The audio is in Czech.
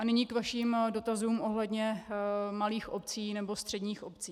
A nyní k vašim dotazům ohledně malých obcí nebo středních obcí.